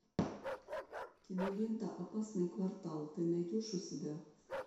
кинолента опасный квартал ты найдешь у себя